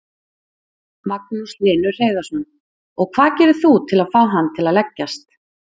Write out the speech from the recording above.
Magnús Hlynur Hreiðarsson: Og hvað gerir þú til að fá hann til að leggjast?